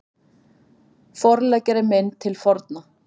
Forleggjari minn til forna